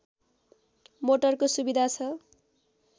मोटरको सुविधा छ